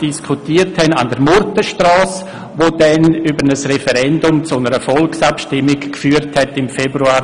Diesen hatten wir hier im Rat ebenfalls diskutiert, und aufgrund eines Referendums wurde dann in Februar 2016 eine Volksabstimmung darüber durchgeführt.